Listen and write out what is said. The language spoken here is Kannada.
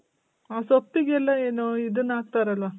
ಅ ಸೊಪ್ಪಿಗೆಲ್ಲ ಏನೊ ಇದುನ್ ಹಾಕ್ತರಲ್ವ?